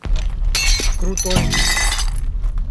крутой